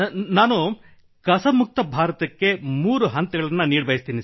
ನಾನು ಕಸ ಮುಕ್ತ ಭಾರತಕ್ಕೆ 3 ಹಂತಗಳನ್ನು ನೀಡಬಯಸುತ್ತೇನೆ